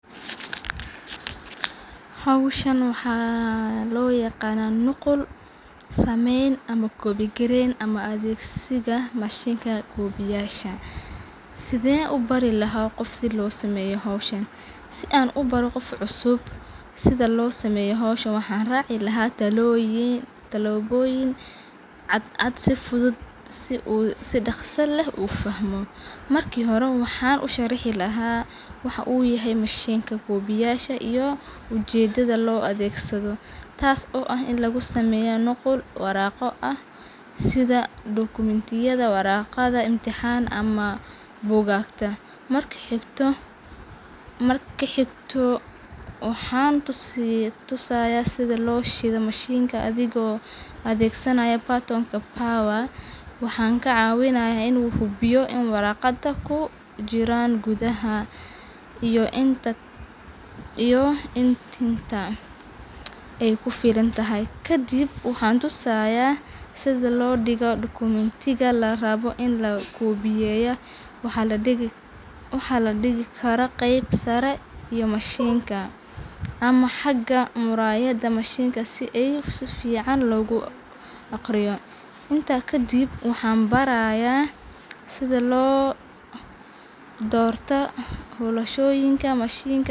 Howshan waxaa loo yaqaana nuqul sameen ama koobi yareen si aan ubaro qof cusub waxaan raaci lahaa talooyin iyo tilaboyin cadcad si si daqsi leh loo xakumo waxaan usharixi lahaa wixi lagu sameeyo sida bugaagta narka xigto waxaan tusaaya sida loo shido mashinka adhigo adeegsanaayo waaxaan ka cawinaya inuu hubiyo in Kadib waxaan tusaaya sida larabo in loo digo dekomentiga waxaa ladigi karaa qeeb sare ama mishinka.